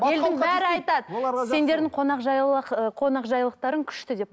елдің бәрі айтады сендердің ы қонақжайлылықтарың күшті деп